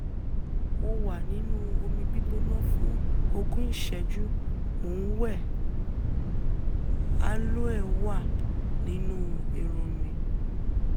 Mo wà nínú omi gbígbóná fún ogún ìṣẹ́jú, mo ń wẹ̀, aloe wà nínú irun mi